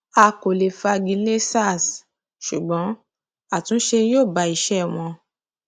a kò lè fagi lé sars ṣùgbọn àtúnṣe yóò bá iṣẹ wọn